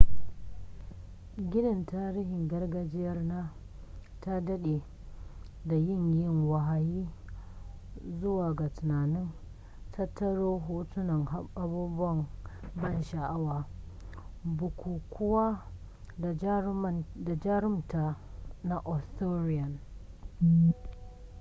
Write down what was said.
ginin tarihin gargajiyar na ta dade da yin yi wahayi zuwa ga tunanin tattaro hotunan abubuwan ban sha'awa bukukuwa da jarumta na arthurian